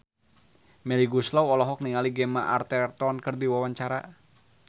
Melly Goeslaw olohok ningali Gemma Arterton keur diwawancara